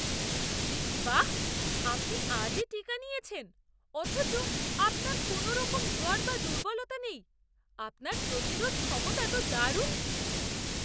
বাহ্! আপনি আজই টীকা নিয়েছেন অথচ আপনার কোনওরকম জ্বর বা দুর্বলতা নেই। আপনার প্রতিরোধ ক্ষমতা তো দারুণ!